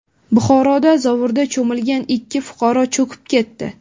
Buxoroda zovurda cho‘milgan ikki fuqaro cho‘kib ketdi.